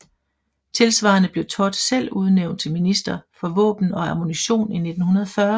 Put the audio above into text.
Tilsvarende blev Todt selv udnævnt til minister for våben og ammunition i 1940